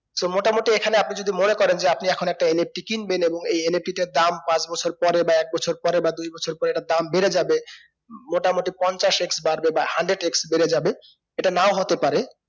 so মোটামুটি এখানে আপনি যদি মনে করেন যে আপনি এখন একটা NFT কিনবেন এবং এই NFT টার দাম পাঁচ বছর পরে বা এক বছর পরে বা দুই বছর পরে এটার দাম বেড়ে যাবে মোটামুটি পঞ্চাশ x বাড়বে বা hundred-x বেড়েযাবে এটা নাও হতে পারে